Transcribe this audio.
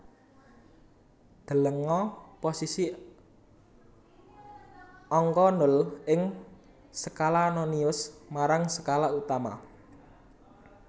Delenga posisi angka nol ing skala nonius marang skala utama